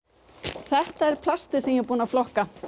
þetta er plastið sem ég er búin að flokka